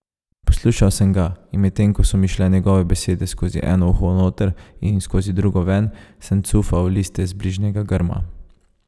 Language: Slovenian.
Poslušal sem ga, in medtem ko so mi šle njegove besede skozi eno uho noter in skozi drugo ven, sem cufal liste z bližnjega grma.